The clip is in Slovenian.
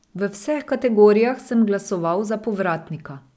V vseh kategorijah sem glasoval za Povratnika.